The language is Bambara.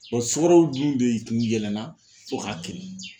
sukaro dun de tun yɛlɛnna fɔ k'a kirin